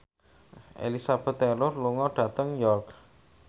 Elizabeth Taylor lunga dhateng York